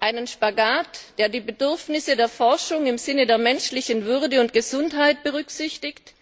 Einen Spagat, der die Bedürfnisse der Forschung im Sinne der menschlichen Würde und Gesundheit berücksichtigt,